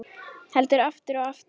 Heldur aftur og aftur.